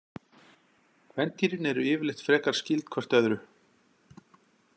Kvendýrin eru yfirleitt frekar skyld hvert öðru.